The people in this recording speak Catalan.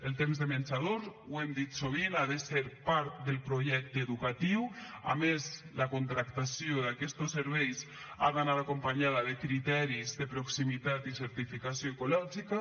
el temps de menjador ho hem dit sovint ha de ser part del projecte educatiu a més la contractació d’aquestos serveis ha d’anar acompanyada de criteris de proximitat i certificació ecològica